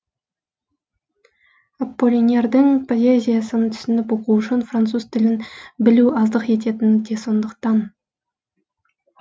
аполлинердің поэзиясын түсініп оқу үшін француз тілін білу аздық ететіні де сондықтан